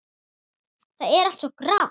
Það er allt svo grátt.